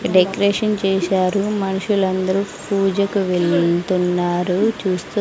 decoration చేశారు మనుషులందరూ పూజకు వెళ్తున్నారు చేస్తూ--